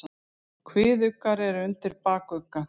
Kviðuggar eru undir bakugga.